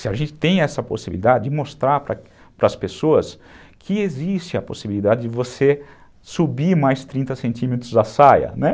Se a gente tem essa possibilidade de mostrar para as pessoas que existe a possibilidade de você subir mais trinta centímetros a saia, né?